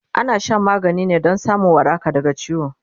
ana Shan magani ne Dan samun waraka daga ciwo